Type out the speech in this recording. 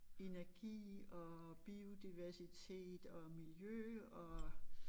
Energi og biodiversitet og miljø og